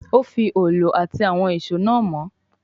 Ó fi òòlù àti àwọn ìṣó náà mọ́